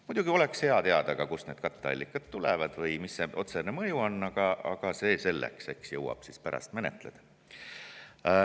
Muidugi oleks hea teada ka seda, kust need katteallikad tulevad või mis see otsene mõju on, aga see selleks, eks jõuab pärast menetleda.